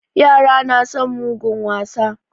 Yara na son mugun wasa.